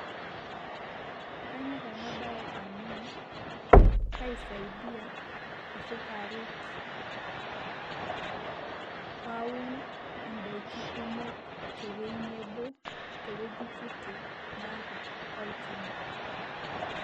kanyor ena bae amu kaisidaia ashu kaaret pee aun idaikin kumok te wueji kiti naata olchampa.